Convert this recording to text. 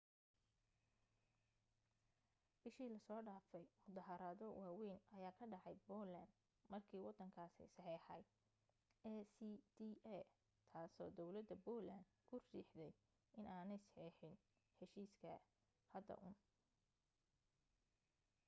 bishii la soo dhaafay muddaharaado waawayn ayaa ka dhacay poland markii waddankaasi saxeexay acta taasoo dawladda poland ku riixday inaanay saxeexin heshiiska hadda uun